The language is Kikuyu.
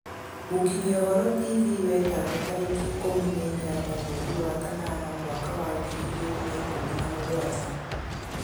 mũkĩnyĩa ũhoro tv wetano tarĩkĩ ĩkumĩ na inyanya mwerĩ wa kanana mwaka wa ngĩrĩ ĩgĩrĩ na ĩkumi na mũgwanja